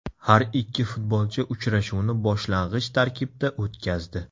Har ikki futbolchi uchrashuvni boshlang‘ich tarkibda o‘tkazdi.